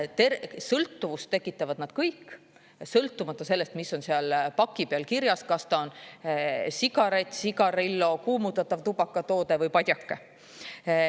Sõltuvust tekitavad nad kõik, sõltumata sellest, mis on seal paki peal kirjas: kas ta on sigaret, sigarillo, kuumutatav tubakatoode või padjake.